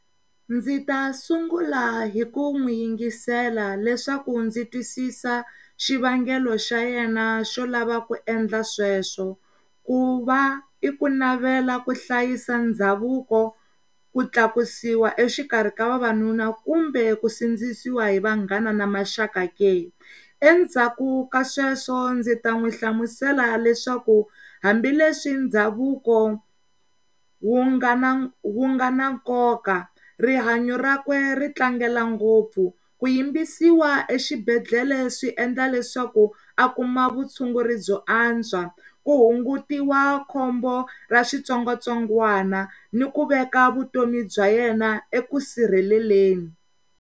Ndzi ta sungula hi ku n'wi yingisela leswaku ndzi twisisa xivangelo xa yena xo lava ku endla sweswo ku va i ku navela ku hlayisa ndhavuko, ku tlakusiwa exikarhi ka vavanuna kumbe ku sindzisiwa hi vanghana na maxaka leyi endzhaku ka sweswo ndzita n'wi hlamusela leswaku hambileswi ndhavuko wu nga na nkoka rihanyo rakwe ri tlangela ngopfu ku yimbisiwa exibedhlele swi endla leswaku a kuma va vuyela tshunguri byo antswa ku hunguta khombo ra switsongwatsongwana ni ku veka vutomi bya yena eka vusirheleleni.